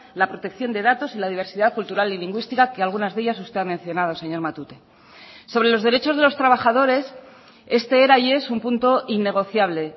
la protección de datos y la diversidad cultural y lingüística que algunas de ellas usted ha mencionado señor matute sobre los derechos de los trabajadores este era y es un punto innegociable